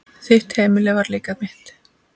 Þitt heimili var líka mitt.